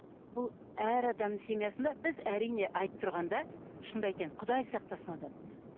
бұл әр адамның семьсында біз әрине айтып тұрғанда шынымды айтайын құдай сақтасын одан